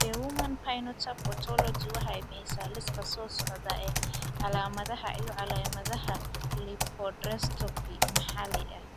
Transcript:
The Human Phenotype Ontology waxay bixisaa liiska soo socda ee calaamadaha iyo calaamadaha lipodystrophy maxalli ah.